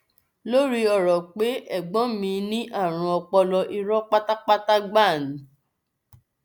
lórí ọrọ pé ẹgbọn mi ní àrùn ọpọlọ irọ pátá gbáà ni o